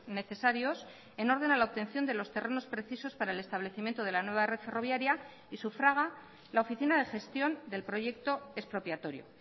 necesarios en orden a la obtención de los terrenos precisos para el establecimiento de la nueva red ferroviaria y sufraga la oficina de gestión del proyecto expropiatorio